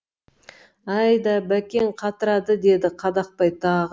әй да бәкең қатырады деді қадақбай тағы